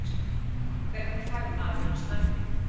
Hvernig fær maður standpínu?